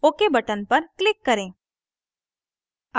ok button पर click करें